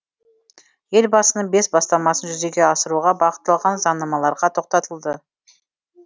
елбасының бес бастамасын жүзеге асыруға бағытталған заңнамаларға тоқтатылды